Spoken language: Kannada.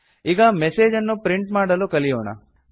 ಈಗ ಮೆಸೇಜ್ ಅನ್ನು ಪ್ರಿಂಟ್ ಮಾಡಲು ಕಲಿಯೋಣ